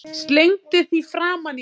Slengdi því framan í hann.